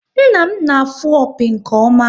Nna m na-afụ opi nke ọma